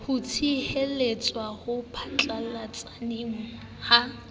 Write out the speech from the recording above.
ho tshwaetsa ho phatlalletseng ha